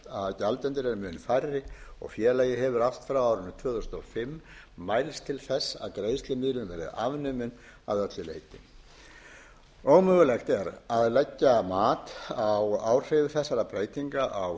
að gjaldendur eru mun færri og félagið hefur allt frá árinu tvö þúsund og fimm mælst til þess að greiðslumiðlun verði afnumin að öllu leyti ómögulegt er að leggja mat á áhrif þess á